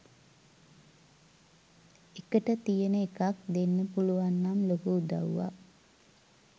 එකට තියන එකක් දෙන්න පුලුවන්නම් ලොකු උදව්වක්.